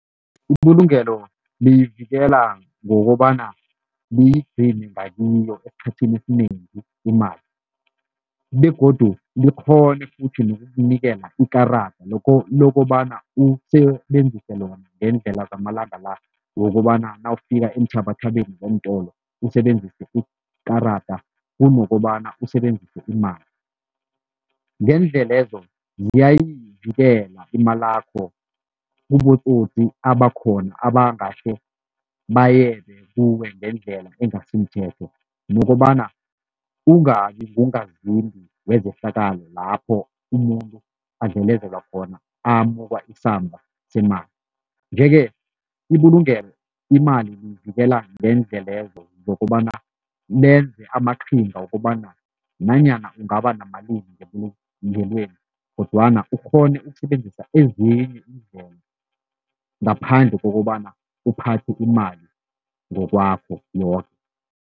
Ibulungelo liyivikela ngokobana liyigcine ngakiyo esikhathini esinengi imali, begodu likghone ukutjho nokunikela ikarada lokobana usebenzise lona ngeendlela zamalanga la wokobana nawufika eenthabathabeni zeentolo usebenzise ikarada kunokobana usebenzise imali. Ngeendlelezo, ziyayivikela imalakho kubotsotsi abakhona abangahle bayebe kuwe ngendlela engasimthetho nokobana ungabi ngungazimbi wezehlakalo lapho umuntu adlelezelwa khona amukwa isamba semali. Nje-ke, ibulungelo imali liyivikela ngeendlelezo zokobana lenze amaqhinga wokobana nanyana ungaba namalimi ngebulungelweni kodwana ukghone ukusebenzisa ezinye iindlela ngaphandle kokobana uphathe imali ngokwakho